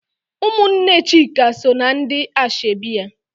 Ụmụnne Chika so na ndị ashebi ya.